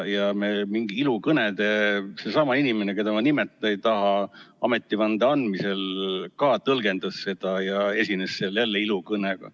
Seesama inimene, keda ma nimetada ei taha, ametivande andmisel ka tõlgendas seda ja esines seal jälle ilukõnega.